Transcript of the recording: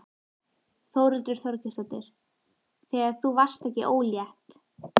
Þórhildur Þorkelsdóttir: Þegar þú varðst ekki ólétt?